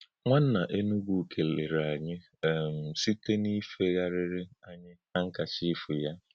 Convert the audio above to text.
Nwánnà Énugwú kèlèrè ānyị̄ um nìlē̄ sī̄tè n’ífègharịrị́ ānyị̄ hànkachí̄f yá.